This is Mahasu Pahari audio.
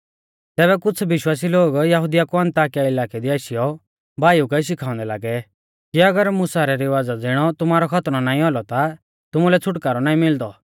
तैबै कुछ़ विश्वासी लोग यहुदिया कु अन्ताकिया इलाकै दी आशीयौ भाईऊ कै शिखाउंदै लागै कि अगर मुसा रै रिवाज़ा ज़िणौ तुमारौ खतनौ नाईं औलौ ता तुमुलै छ़ुटकारौ नाईं मिलदी